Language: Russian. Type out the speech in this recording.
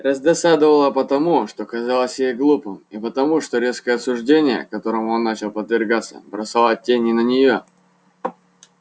раздосадовало потому что казалось ей глупым и потому что резкое осуждение которому он начал подвергаться бросало тень и на неё